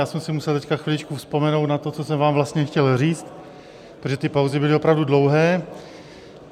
Já jsem si musel teď chviličku vzpomenout na to, co jsem vám vlastně chtěl říct, protože ty pauzy byly opravdu dlouhé.